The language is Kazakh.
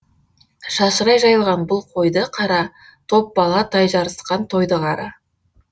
шашырай жайылған бұл қойды қара топ бала тай жарысқан тойды қара